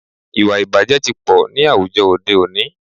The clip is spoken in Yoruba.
Ìwàìbàjẹ́ tí pọ̀ ní àwùjọ òde òní.